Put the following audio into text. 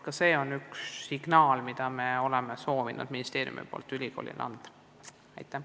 Ka see on üks signaal, mida ministeerium on soovinud ülikoolile anda.